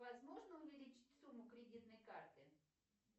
возможно увеличить сумму кредитной карты